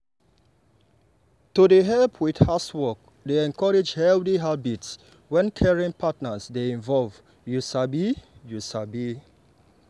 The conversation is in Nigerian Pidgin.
to dey help with housework dey encourage healthy habits when caring partners dey involved you sabi. you sabi.